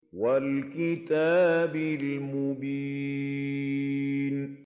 وَالْكِتَابِ الْمُبِينِ